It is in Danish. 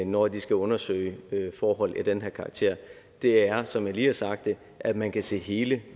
når de skal undersøge forhold af den her karakter er som jeg lige har sagt det at man kan se hele